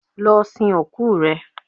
Lọ sin òkú rẹ